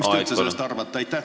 Mis te üldse sellest arvate?